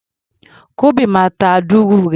Kúḿbi máa ta dùrù rẹ̀.